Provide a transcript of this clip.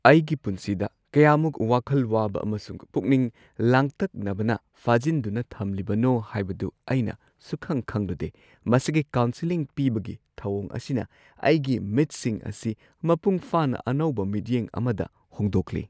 ꯑꯩꯒꯤ ꯄꯨꯟꯁꯤꯗ ꯀꯌꯥꯃꯨꯛ ꯋꯥꯈꯜ ꯋꯥꯕ ꯑꯃꯁꯨꯡ ꯄꯨꯛꯅꯤꯡ ꯂꯥꯡꯇꯛꯅꯕꯅ ꯐꯥꯖꯤꯟꯗꯨꯅ ꯊꯝꯂꯤꯕꯅꯣ ꯍꯥꯏꯕꯗꯨ ꯑꯩꯅ ꯁꯨꯡꯈꯪ-ꯈꯪꯂꯨꯗꯦ꯫ ꯃꯁꯤꯒꯤ ꯀꯥꯎꯟꯁꯦꯜꯂꯤꯡ ꯄꯤꯕꯒꯤ ꯊꯧꯑꯣꯡ ꯑꯁꯤꯅ ꯑꯩꯒꯤ ꯃꯤꯠꯁꯤꯡ ꯑꯁꯤ ꯃꯄꯨꯡꯐꯥꯅ ꯑꯅꯧꯕ ꯃꯤꯠꯌꯦꯡ ꯑꯃꯗ ꯍꯣꯡꯗꯣꯛꯂꯦ!